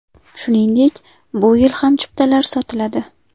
Shuningdek, bu yil ham chiptalar sotiladi.